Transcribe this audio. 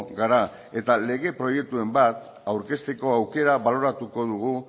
gara eta lege proiekturen bat aurkezteko aukera baloratuko dugu